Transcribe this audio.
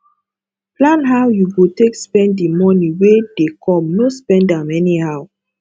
plan how you go take spend di money wey dey come no spend am anyhow